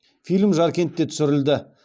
фильм жаркентте түсірілді